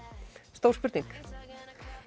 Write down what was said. stór spurning